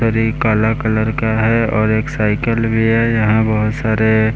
री काला कलर का है और एक साइकिल भी है यहाँ बहुत सारे --